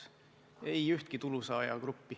Ei ole ühtki sellist tulusaajagruppi.